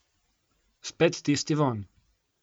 Spet tisti vonj.